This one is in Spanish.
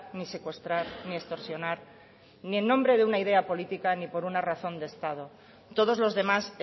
ni secuestrar ni extorsionar ni en nombre de una idea política ni por una razón de estado todos los demás